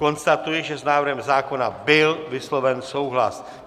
Konstatuji, že s návrhem zákona byl vysloven souhlas.